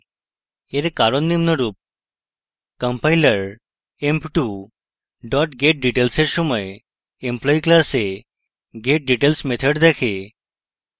এর কারণ নিম্নরূপ: